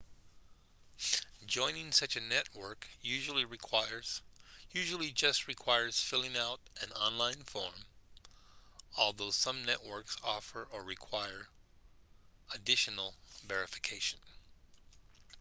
joining such a network usually just requires filling out an online form although some networks offer or require additional verification